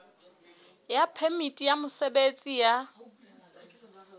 ya phemiti ya mosebetsi ya